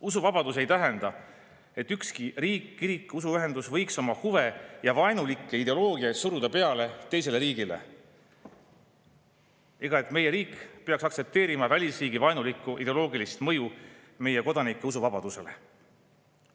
Usuvabadus ei tähenda, et ükski riik, kirik või usuühendus võiks oma huve ja vaenulikku ideoloogiat suruda peale teisele riigile, ega seda, et meie riik peaks aktsepteerima välisriigi vaenulikku ideoloogilist mõju meie kodanike usuvabadusele.